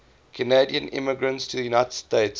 canadian immigrants to the united states